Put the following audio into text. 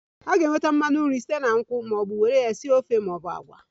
A ga-enweta mmanu nru site na nkwụ mmanụ were ya sie ofe maọbụ agwa